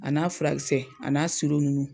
A n'a furakɛkisɛ a n'a siro ninnu.